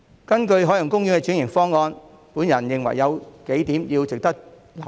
根據海洋公園的轉型方案，我認為有幾點值得留意。